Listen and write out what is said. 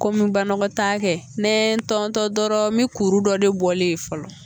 Ko me banakɔtaa kɛ, a bɛ me n tɔntɔn dɔrɔn mi kuru dɔ de bɔlen ye fɔlɔ.